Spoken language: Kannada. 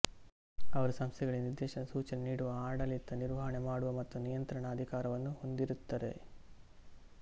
ಅವರು ಸಂಸ್ಥೆಗಳಿಗೆ ನಿರ್ದೇಶನ ಸೂಚನೆ ನೀಡುವ ಆಡಳಿತ ನಿರ್ವಹಣೆ ಮಾಡುವ ಮತ್ತು ನಿಯಂತ್ರಣದ ಅಧಿಕಾರವನ್ನು ಹೊಂದಿರುತ್ತರೆ